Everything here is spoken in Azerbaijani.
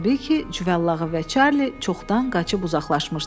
Təbii ki, cüvəllağı və Çarli çoxdan qaçıb uzaqlaşmışdılar.